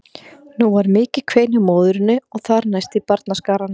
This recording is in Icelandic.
Nú varð mikið kvein hjá móðurinni og þar næst í barnaskaranum.